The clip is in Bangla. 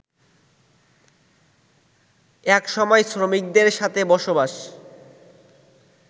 একসময় শ্রমিকদের সাথে বসবাস